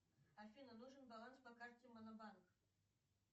афина нужен баланс по карте монобанк